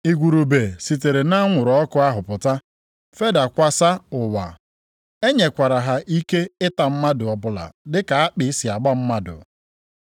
Igurube sitere nʼanwụrụ ọkụ ahụ pụta fedakwasa ụwa. E nyekwara ha ike ịta mmadụ ọbụla dịka akpị si agba mmadụ.